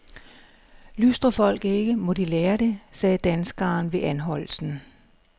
Lystrer folk ikke, må de lære det, sagde danskeren ved anholdelsen.